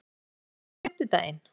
Ísold, er bolti á fimmtudaginn?